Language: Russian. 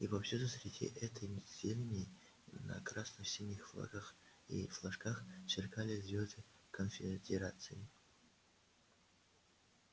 и повсюду среди этой зелени на красно-синих флагах и флажках сверкали звёзды конфедерации